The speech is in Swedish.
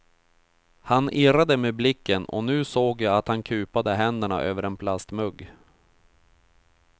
Han irrade med blicken och nu såg jag att han kupade händerna över en plastmugg.